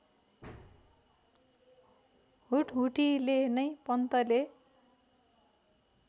हुटहुटीले नै पन्तले